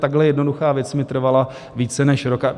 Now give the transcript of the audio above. Takhle jednoduchá věc mi trvala více než rok.